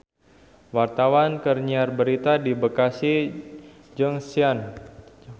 Wartawan keur nyiar berita di Bekasi Junction